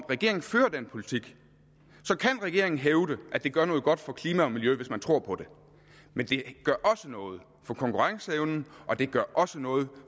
regeringen fører den politik kan regeringen hævde at det gør noget godt for klima og miljø hvis man tror på det men det gør da også noget for konkurrenceevnen og det gør også noget